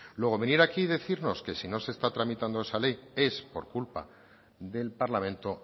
luego venir aquí y decirnos que si no se está tramitando esa ley es por culpa del parlamento